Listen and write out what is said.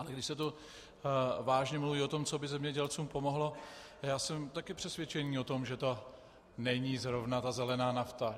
Ale když se tu vážně mluví o tom, co by zemědělcům pomohlo, já jsem také přesvědčen o tom, že to není zrovna ta zelená nafta.